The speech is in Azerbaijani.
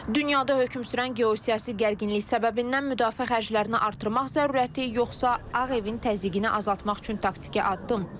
Dünyada hökm sürən geosiyasi gərginlik səbəbindən müdafiə xərclərini artırmaq zəruriyyəti yoxsa Ağ Evin təzyiqini azaltmaq üçün taktiki addım?